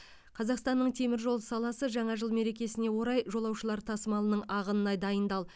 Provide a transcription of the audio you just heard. қазақстанның темір жол саласы жаңа жыл мерекесіне орай жолаушылар тасымалының ағынына дайындал